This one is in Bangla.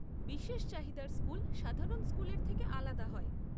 বিশেষ চাহিদার স্কুল সাধারণ স্কুলের থেকে আলাদা হয়।